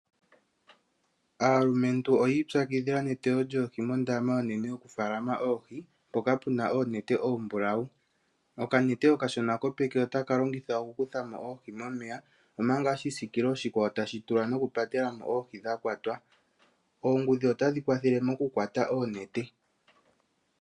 Aalumentu oyi ipyakidhila neteyo lyoohi moondama oonene yokumuna oohi mpoka puna oonete oombulawu. Okanete okashona kopeke otaka longithwa oku kuthamo oohi momeya omanga oshisiikilo oshikwawo tashi tulwa nokupatelamo oohi dha kwatwa. Oongudhi otadhi kwathele mokukwata oonete.